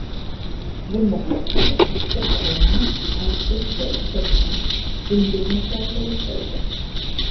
Bundan tashqari ikkita koloniya aysbergga tutashgan dengiz muzlarida yashaydi.